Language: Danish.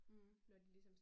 Mh